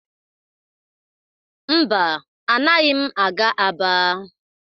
Mba, anaghị m aga Aba.